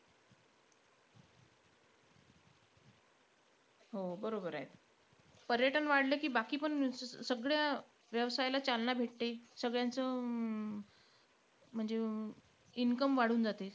हो बरोबर आहे. पर्यटन वाढलं की, बाकीपण सगळ्या व्यायवसायाला चालना भेटते. सगळ्यांचं अं म्हणजे income वाढून जाते.